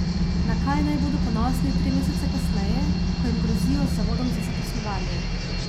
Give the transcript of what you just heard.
Na kaj naj bodo ponosni tri mesece kasneje, ko jim grozijo z Zavodom za zaposlovanje?